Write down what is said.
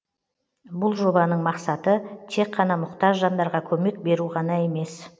бұл жобаның мақсаты тек қана мұқтаж жандарға көмек беру ғана емес